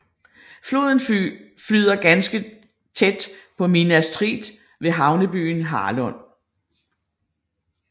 Floden flyder derefter ganske tæt på Minas Tirith ved havnebyen Harlond